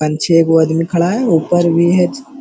अंछे एगो अदमी खड़ा है ऊपर भी है च --